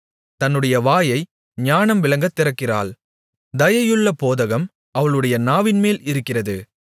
தன்னுடைய வாயை ஞானம் விளங்கத் திறக்கிறாள் தயையுள்ள போதகம் அவளுடைய நாவின்மேல் இருக்கிறது